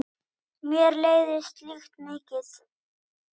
Mér leiðist slíkt mikið.